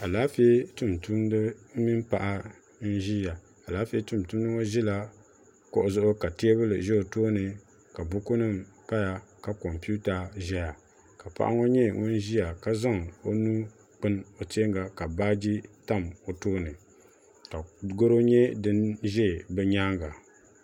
Alaafee tumtumda mini paɣa n ʒia alaafee tumtumdi ŋɔ ʒila kuɣu zuɣu ka teebuli ʒɛ o tooni ka buku nima paya ka kompita ʒɛya ka paɣa ŋɔ nyɛ ŋun ʒia ka zaŋ o nuu gbini o teenga ka baaji tam o tooni ka goro nyɛ din ʒɛ bɛ nyaanga.